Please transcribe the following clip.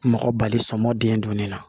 Mɔgɔ bali sɔmɔ den don ne la